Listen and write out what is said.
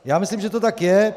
Já myslím, že to tak je.